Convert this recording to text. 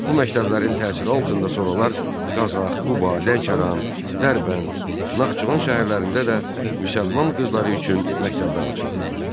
Bu məktəblərin təsiri altında sonralar Qazax, Quba, Lənkəran, Dərbənd, Naxçıvan şəhərlərində də müsəlman qızları üçün məktəblər açıldı.